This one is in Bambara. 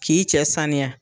K'i cɛ saniya